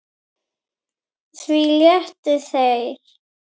Því létu þeir